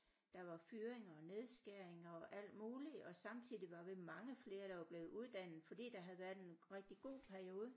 Der var fyringer og nedskæringer og alt muligt og samtidig var vi mange flere der var blevet uddannet fordi der havde været en rigtig god periode